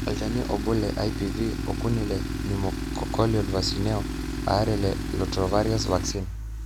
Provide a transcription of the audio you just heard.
olchani obo le IPV, okuni le pneumococcal vaccineo aare le rotavirus vaccine